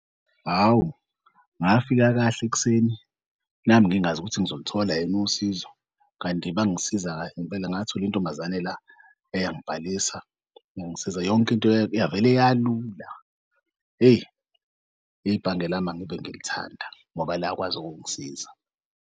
Hawu, ngafika kahle ekuseni nami ngingazi ukuthi ngizolithola yini usizo. Kanti bangisiza kahle ngempela ngathola intombazane la eyangibhalisa, yangisiza yonke into yavele yalula. Hheyi, ibhange lami angive ngilithanda ngoba lakwazi ukungisiza.